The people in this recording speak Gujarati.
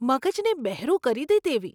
મગજને બહેરું કરી દે તેવી!